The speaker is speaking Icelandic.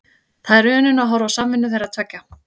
Það er unun að horfa á samvinnu þeirra tveggja.